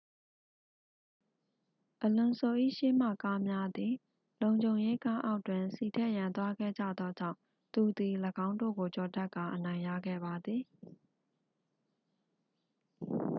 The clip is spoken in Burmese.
အလွန်ဆို ၏ရှေ့မှကားများသည် လုံခြုံရေးကားအောက်တွင် ဆီထည့်ရန်သွားခဲ့ကြသောကြောင့် သူသည် ၎င်းတို့ကိုကျော်တက်ကာ အနိုင်ရခဲ့ပါသည်